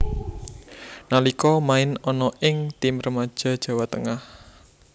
Nalika main ana ing tim remaja Jawa Tengah